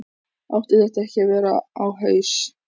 Átti þetta ekki að vera á haus?